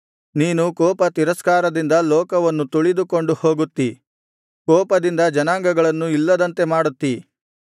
ನೀನು ಕೋಪ ತಿರಸ್ಕಾರದಿಂದ ಲೋಕವನ್ನು ತುಳಿದುಕೊಂಡು ಹೋಗುತ್ತೀ ಕೋಪದಿಂದ ಜನಾಂಗಗಳನ್ನು ಇಲ್ಲದಂತೆ ಮಾಡುತ್ತಿ